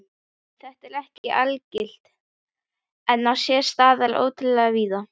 Þetta er ekki algilt en á sér stað ótrúlega víða.